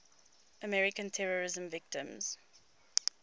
american terrorism victims